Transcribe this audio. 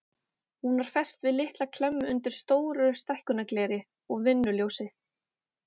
Hún var fest við litla klemmu undir stóru stækkunargleri og vinnuljósi.